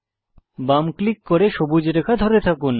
বাম ক্লিক করে সবুজ রেখা ধরে রাখুন